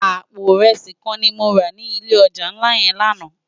Àpó irési kán ni mó rá ni ilé òjá nlá yèn làná